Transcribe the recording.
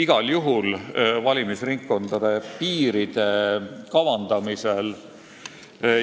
Igal juhul ma arvan valimisringkondade piiride